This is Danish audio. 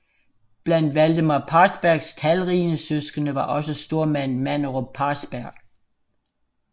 Blandt Valdemar Parsbergs talrige søskende var også stormanden Manderup Parsberg